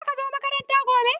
Zaka zo makaranta gobe?